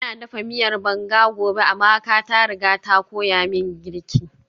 Ina dafa miyar banga gobe, Amaka ta riga ta koya min girki